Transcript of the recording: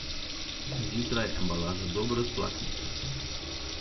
Zjutraj embalažo dobro splaknite.